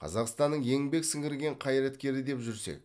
қазақстанның еңбек сіңірген қайраткері деп жүрсек